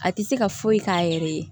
A tɛ se ka foyi k'a yɛrɛ ye